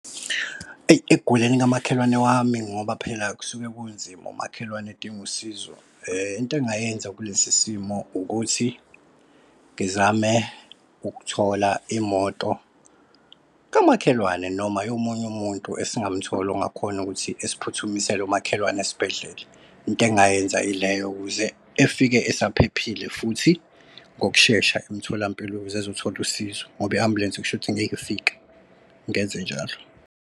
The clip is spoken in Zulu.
Eyi, ekuguleni kamakhelwane wami ngoba phela kusuke kunzima, umakhelwane edinga usizo into engayenza kulesi simo ukuthi ngizame ukuthola imoto kamakhelwane noma yomunye umuntu esingamthola ongakhona ukuthi esiphuthumisele umakhelwane esibhedlela. Into engayenza yileyo ukuze efike usaphephile futhi ngokushesha emtholampilo ukuze ezothola usizo ngoba i-ambulensi kushuthi ngekifike ngenze njalo.